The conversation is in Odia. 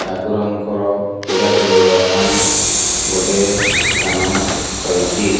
ଠାକୁରଙ୍କର ପୂଜା କରିବା ପାଇଁ ଗୋଟେ ସ୍ତାନ ରହିଛି।